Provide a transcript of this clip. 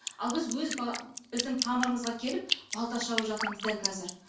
ал біз өз біздің тамырымызға келіп балта шауып жатырмыз дәл қазір